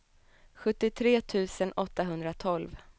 sjuttiotre tusen åttahundratolv